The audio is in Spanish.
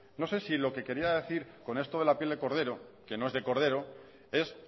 no sé si lo que quería decir con esto de la piel de cordero que no es de cordero es